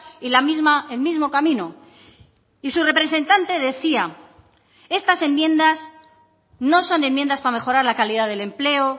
y la misma el mismo camino y su representante decía estas enmiendas no son enmiendas para mejorar la calidad del empleo